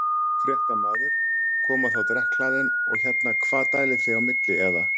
Fréttamaður: Koma þá drekkhlaðin og hérna hvað dælið þið á milli eða?